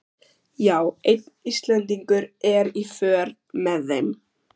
Já, einn Íslendingur er í för með þeim.